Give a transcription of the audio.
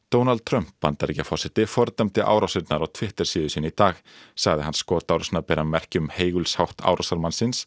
Donald Trump Bandaríkjaforseti fordæmdi árásirnar á Twitter síðu sinni í dag sagði hann bera merki um heigulshátt